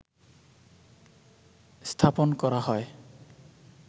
স্থাপন করা হয়